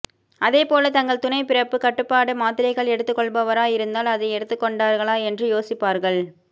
அதேபோல தங்கள் துணை பிறப்புக் கட்டுப்பாடு மாத்திரைகள் எடுத்துக் கொள்பவராக இருந்தால் அதனை எடுத்துக் கொண்டார்களா என்று யோசிப்பார்கள்